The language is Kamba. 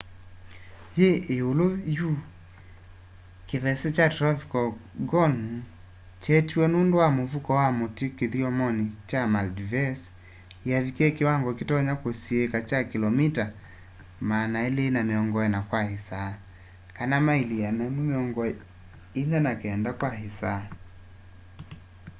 yi iulu yu kivese kya tropical gonu kyeetiwe nundu wa muvuko wa matu kithyomoni kya maldives yavikie kiwango kitonya kusiika kya kilomita 240 kwa isaa maili 149 kwa isaa